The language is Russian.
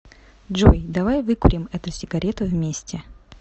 джой давай выкурим эту сигарету вместе